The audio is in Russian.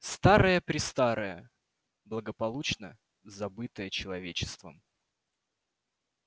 старое-престарое благополучно забытое человечеством